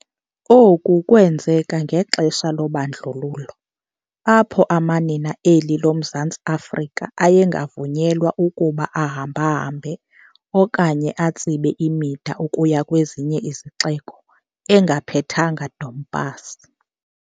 Oku kwenzeka ngexesha lobandlululo apho amanina eli loMzantsi Afrika ayengavunyelwa ukuba ahamba-hambe okanye atsibe imida ukuya kwezinye izixeko engaphethanga Dompasi.